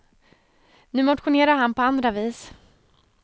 Nu motionerar han på andra vis.